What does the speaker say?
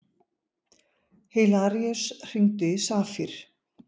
Hilaríus, hringdu í Safír.